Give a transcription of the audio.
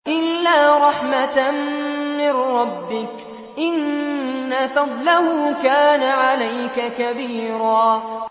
إِلَّا رَحْمَةً مِّن رَّبِّكَ ۚ إِنَّ فَضْلَهُ كَانَ عَلَيْكَ كَبِيرًا